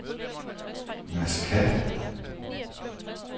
Masqat